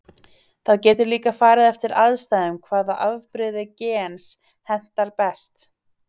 Það getur líka farið eftir aðstæðum hvaða afbrigði gens hentar best.